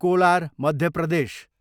collar, Madhya Pradesh